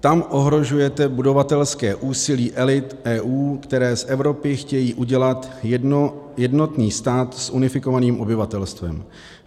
Tam ohrožujete budovatelské úsilí elit EU, které z Evropy chtějí udělat jednotný stát s unifikovaným obyvatelstvem.